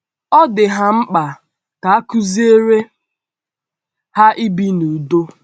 Ọ dị ha mkpa ka a kụziere ha ibi n’ụ̀dò.